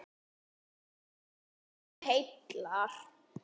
Ilmur sem heillar